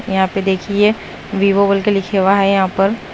यहां पे देखिए वीवो बोल के लिखा हुआ है यहां पर--